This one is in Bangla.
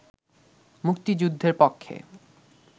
মুক্তিযুদ্ধের পক্ষে